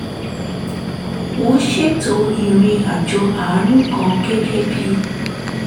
wọ́n ṣètò ìrìn àjò àánú kan gẹ́gẹ́ bí